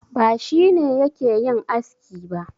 Ba shi ne yake yin aski ba.